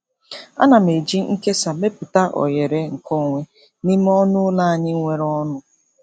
Ana m eji nkesa mepụta oghere nkeonwe n'ime ọnụ ụlọ anyị nwere ọnụ.